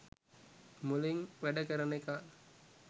මොළෙං වැඩ කරන එකා